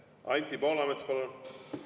Anti Poolamets, palun!